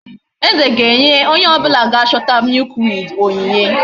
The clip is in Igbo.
Eze ga enye onye obula ga chota milkweed onyinye